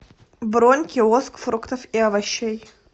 бронь киоск фруктов и овощей